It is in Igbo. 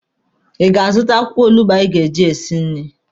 Ị ga-azụta akwụkwọ olugbo anyị ga-eji esi nri?